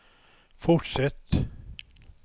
fortsätt